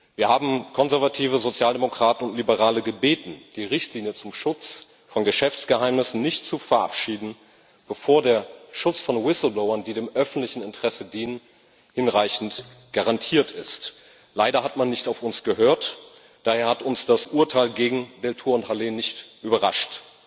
Wir haben Konservative, Sozialdemokraten und Liberale gebeten, die Richtlinie zum Schutz von Geschäftsgeheimnissen nicht zu verabschieden, bevor der Schutz von Whistleblowern, die dem öffentlichen Interesse dienen, nicht hinreichend garantiert ist. Leider hat man nicht auf uns gehört. Daher hat uns das Urteil gegen Deltour und Halet nicht überrascht.